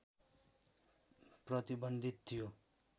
प्रतिबन्धित थियो